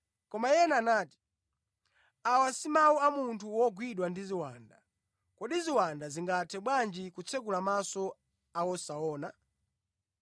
Koma ena anati, “Awa si mawu a munthu wogwidwa ndi ziwanda. Kodi ziwanda zingathe bwanji kutsekula maso a wosaona?”